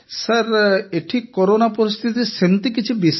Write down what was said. sir ଏଠି corona ପରିସ୍ଥିତି ସେମିତି କିଛି ବିଶେଷ ନାହିଁ